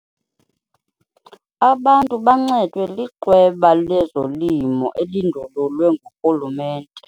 Abantu bancedwe liqweba lezolimo elindululwe ngurhulumente.